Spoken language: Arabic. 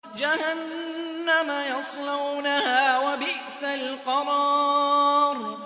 جَهَنَّمَ يَصْلَوْنَهَا ۖ وَبِئْسَ الْقَرَارُ